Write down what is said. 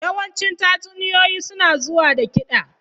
Yawancin tatsuniyoyi suna zuwa da kiɗa.